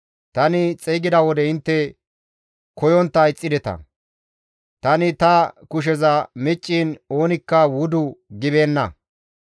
Tani xeygida wode intte koyontta ixxideta; tani ta kusheza micciin oonikka wudu gibeenna.